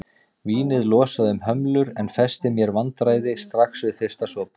Vínið losaði um hömlur en festi mér vandræði strax við fyrsta sopa.